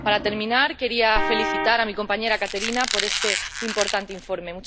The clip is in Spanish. Para terminar, quería felicitar a mi compañera Kateřina por este importante informe.